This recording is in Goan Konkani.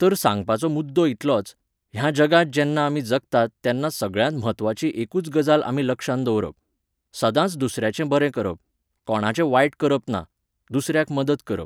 तर सांगपाचो मुद्दो इतलोच, ह्या जगांत जेन्ना आमी जगतात तेन्ना सगळ्यांत म्हत्वाची एकूच गजाल आमी लक्षांत दवरप. सदांच दुसऱ्याचें बरें करप. कोणाचें वायट करप ना. दुसऱ्याक मदत करप